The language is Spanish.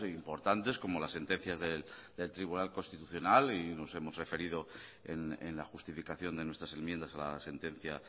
importantes como las sentencias del tribunal constitucional y nos hemos referido en la justificación de nuestras enmiendas a la sentencia